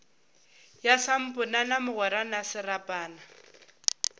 ya samponana mogwera na serapana